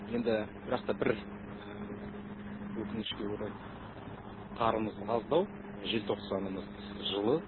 енді бірақ та бір өкінішке орай қарымыз аздау желтоқсанымыз жылы